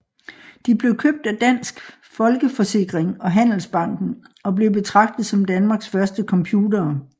De blev købt af Dansk Folkeforsikring og Handelsbanken og blev betragtet som Danmarks første computere